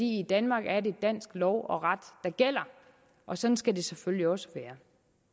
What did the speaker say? i danmark er det dansk lov og ret der gælder og sådan skal det selvfølgelig også være